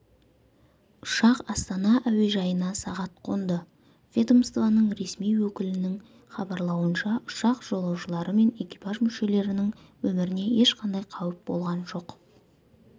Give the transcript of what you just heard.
ұшақ астана әуежайына сағат қонды ведомствоның ресми өкілінің хабарлауынша ұшақ жолаушылары мен экипаж мүшелерінің өміріне ешқандай қауіп болған жоқ